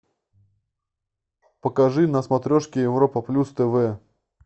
покажи на смотрешке европа плюс тв